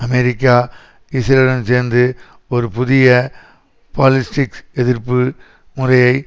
America இஸ்ரேலுடன் சேர்ந்து ஒரு புதிய பாலிஸ்டிக்எதிர்ப்பு முறையை